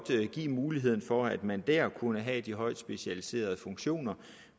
give muligheden for at man der kunne have de højt specialiserede funktioner